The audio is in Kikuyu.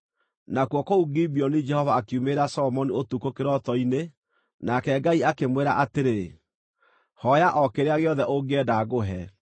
Nakuo kũu Gibeoni Jehova akiumĩrĩra Solomoni ũtukũ kĩroto-inĩ, nake Ngai akĩmwĩra atĩrĩ, “Hooya o kĩrĩa gĩothe ũngĩenda ngũhe.”